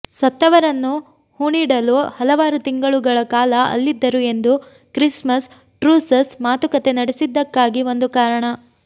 ಸತ್ತವರನ್ನು ಹೂಣಿಡಲು ಹಲವಾರು ತಿಂಗಳುಗಳ ಕಾಲ ಅಲ್ಲಿದ್ದರು ಎಂದು ಕ್ರಿಸ್ಮಸ್ ಟ್ರೂಸಸ್ ಮಾತುಕತೆ ನಡೆಸಿದ್ದಕ್ಕಾಗಿ ಒಂದು ಕಾರಣ